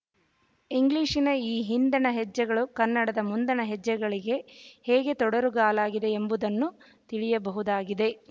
ಇಂಗ್ಲಿಶಿನ ಈ ಹಿಂದಣ ಹೆಜ್ಜೆಗಳು ಕನ್ನಡದ ಮುಂದಣ ಹೆಜ್ಜೆಗಳಿಗೆ ಹೇಗೆ ತೊಡರುಗಾಲಾಗಿದೆ ಎಂಬುದನ್ನು ತಿಳಿಯಬಹುದಾಗಿದೆ